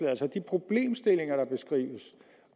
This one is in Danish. altså de problemstillinger der beskrives